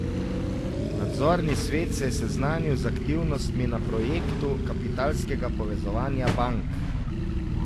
Nadzorni svet se je seznanil z aktivnostmi na projektu kapitalskega povezovanja bank.